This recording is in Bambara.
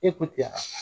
E ko tiɲɛ